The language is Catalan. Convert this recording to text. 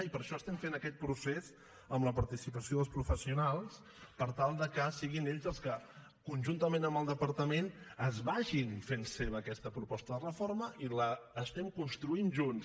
i per això estem aquest procés amb la participació dels professionals per tal que siguin ells els que conjuntament amb el departament es facin seva aquesta proposta de reforma i l’estem construint junts